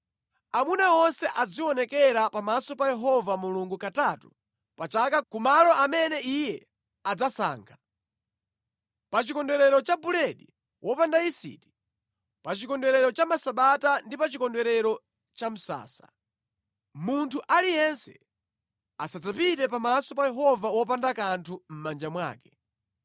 Amuna onse azionekera pamaso pa Yehova Mulungu katatu pa chaka ku malo amene Iye adzasankha. Pa Chikondwerero cha Buledi wopanda Yisiti, pa Chikondwerero cha Masabata ndi pa Chikondwerero cha Misasa. Munthu aliyense asadzapite pamaso pa Yehova wopanda kanthu mʼmanja mwake.